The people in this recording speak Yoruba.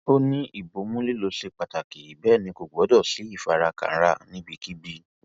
ó ní ìbomú lílọ ṣe pàtàkì bẹẹ ni kò gbọdọ sí ìfarakanra níbikíbi